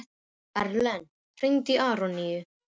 Erlen, hringdu í Aroníu.